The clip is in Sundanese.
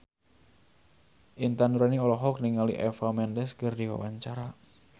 Intan Nuraini olohok ningali Eva Mendes keur diwawancara